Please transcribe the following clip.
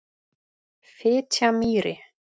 Fitjamýri